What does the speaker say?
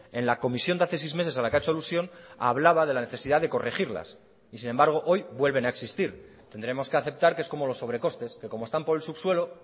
en la comisión de hace seis meses a la que ha hecho alusión hablaba de la necesidad de corregirlas y sin embargo hoy vuelven a existir tendremos que aceptar que es como los sobrecostes que como están por el subsuelo